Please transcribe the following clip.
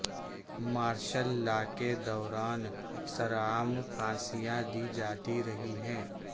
martial law کے دوران سرعام پھانسیاں دی جاتی رہی ہیں